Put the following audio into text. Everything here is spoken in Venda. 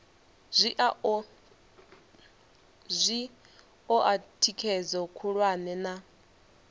zwi oa thikhedzo khulwane na